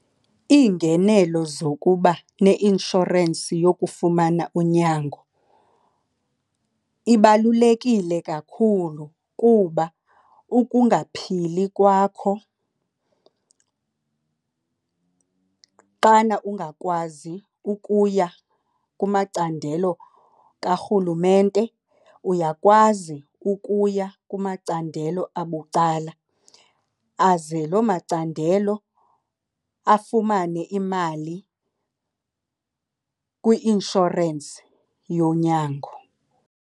Iingenelo zokuba neinshorensi yokufumana unyango ibalulekile kakhulu kuba ukungaphili kwakho xana ungakwazi ukuya kumacandelo karhulumente, uyakwazi ukuya kumacandelo abucala. Aze lo macandelo afumane imali kwi-inshorensi yonyango.